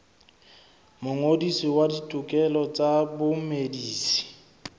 mongodisi wa ditokelo tsa bamedisi